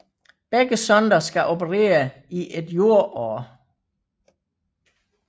Begge sonder skal operere i et jordår